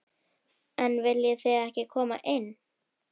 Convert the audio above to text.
En viljið þið ekki koma inn?